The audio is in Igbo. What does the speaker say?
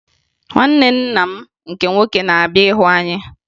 Nwanne nna m nke nwoke na-abịa ịhụ anya